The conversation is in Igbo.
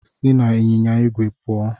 Si n'ịnyịnya igwe puo